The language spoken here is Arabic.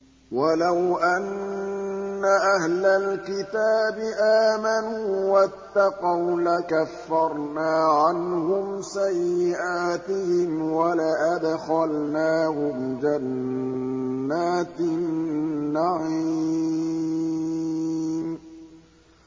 وَلَوْ أَنَّ أَهْلَ الْكِتَابِ آمَنُوا وَاتَّقَوْا لَكَفَّرْنَا عَنْهُمْ سَيِّئَاتِهِمْ وَلَأَدْخَلْنَاهُمْ جَنَّاتِ النَّعِيمِ